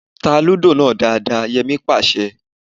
Tá Lúdò náà dáadáa! Yẹmí pàṣẹ